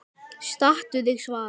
Stattu þig, Svala